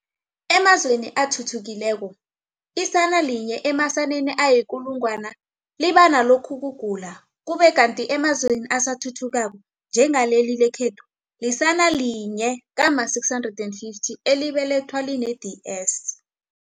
Emazweni athuthukileko, isana linye emasaneni ayikulungwana liba nalokhukugula, ukube kanti emazweni asathuthukako, njengaleli lekhethu, lisana linye kama650 elibelethwa line-DS.